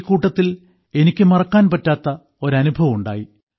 ഈ കൂട്ടത്തിൽ എനിക്ക് മറക്കാൻ പറ്റാത്ത ഒരനുഭവം ഉണ്ടായി